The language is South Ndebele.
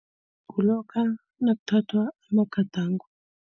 Kulokha nakuthathwa amagadango.